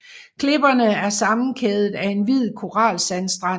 Klipperne er sammenkædet af en hvid koralsandstrand